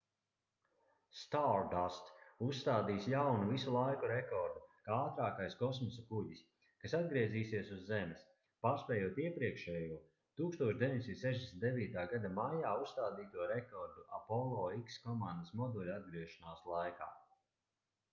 stardust uzstādīs jaunu visu laiku rekordu kā ātrākais kosmosa kuģis kas atgriezīsies uz zemes pārspējot iepriekšējo 1969. gada maijā uzstādīto rekordu apollo x komandas moduļa atgriešanās laikā